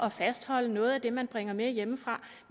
at fastholde noget af det man bringer med hjemmefra